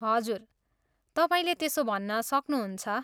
हजुर, तपाईँले त्यसो भन्न सक्नुहुन्छ।